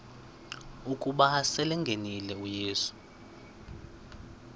ukuba selengenile uyesu